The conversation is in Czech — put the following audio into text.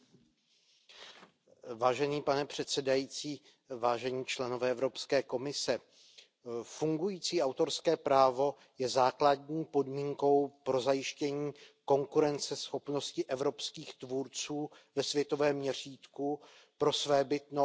Pane předsedající, vážení členové Evropské komise, fungující autorské právo je základní podmínkou pro zajištění konkurenceschopnosti evropských tvůrců ve světovém měřítku, pro svébytnost evropské kultury.